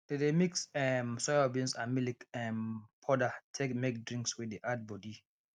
they dey mix um soyabeans and milk um powder take make drinks wey de add body